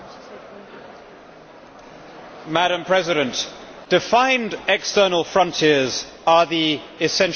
Madam President, defined external frontiers are the essential attribute of nationhood.